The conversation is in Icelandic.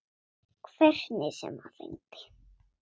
Hvernig sem hann reyndi.